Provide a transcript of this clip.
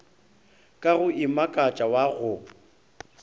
ka go imakatša wa go